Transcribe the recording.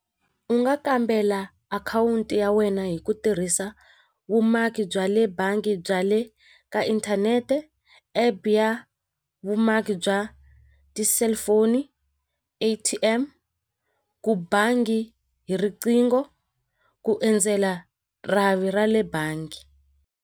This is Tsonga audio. U nga kambela akhawunti ya wena hi ku tirhisa vumaki bya le bangi bya le ka inthanete epe ya vumaki bya ya ti-cellphone A_T_M ku bangi hi riqingho ku endzela rhavi ra le bangi.